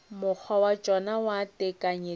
mokgwa wa tšona wa tekanyetšo